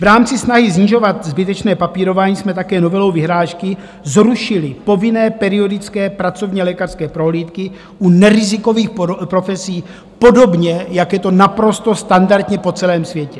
V rámci snahy snižovat zbytečné papírování jsme také novelou vyhlášky zrušili povinné periodické pracovní lékařské prohlídky u nerizikových profesí, podobně jak je to naprosto standardně po celém světě.